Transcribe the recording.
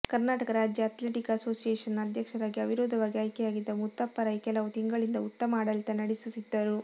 ಕರ್ನಾಟಕ ರಾಜ್ಯ ಅಥ್ಲೆಟಿಕ್ ಅಸೋಸಿಯೇಷನ್ನ ಅಧ್ಯಕ್ಷರಾಗಿ ಅವಿರೋಧವಾಗಿ ಆಯ್ಕೆಯಾಗಿದ್ದ ಮುತ್ತಪ್ಪ ರೈ ಕೆಲವು ತಿಂಗಳಿನಿಂದ ಉತ್ತಮ ಆಡಳಿತ ನಡೆಸುತ್ತಿದ್ದರು